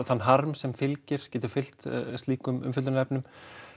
þann harm sem getur fylgt slíkum umfjöllunarefnum